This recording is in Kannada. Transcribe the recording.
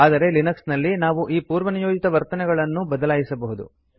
ಆದರೆ ಲಿನಕ್ಸ್ ನಲ್ಲಿ ನಾವು ಈ ಪೂರ್ವನಿಯೋಜಿತ ವರ್ತನೆಯನ್ನು ಬದಲಾಯಿಸಬಹುದು